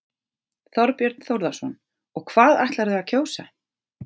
Þorbjörn Þórðarson: Og hvað ætlarðu að kjósa?